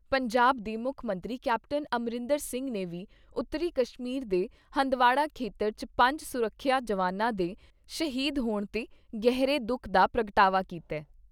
ਪੰਜਾਬ ਦੇ ਮੁੱਖ ਮੰਤਰੀ ਕੈਪਟਨ ਅਮਰਿੰਦਰ ਸਿੰਘ ਨੇ ਵੀ ਉੱਤਰੀ ਕਸ਼ਮੀਰ ਦੇ ਹੰਦਵਾੜਾ ਖੇਤਰ 'ਚ ਪੰਜ ਸੁਰੱਖਿਆ ਜਵਾਨਾਂ ਦੇ ਸ਼ਹੀਦ ਹੋਣ ਤੇ ਗਹਿਰੇ ਦੁਖ ਦਾ ਪ੍ਰਗਟਾਵਾ ਕੀਤਾ ।